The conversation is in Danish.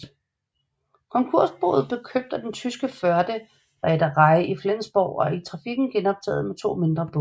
Konkursboet blev købt af det tyske Förde Reederei i Flensborg og trafikken genoptaget med to mindre både